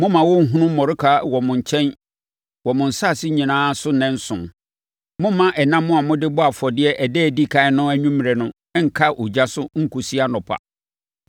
Mommma wɔnhunu mmɔreka wɔ mo nkyɛn wɔ mo nsase nyinaa so nnanson. Mommma ɛnam a mode bɔɔ afɔdeɛ ɛda a ɛdi ɛkan no anwummerɛ no nnka ogya so nkɔsi anɔpa.